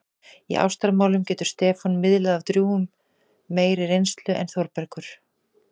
Í ástamálum getur Stefán miðlað af drjúgum meiri reynslu en Þórbergur.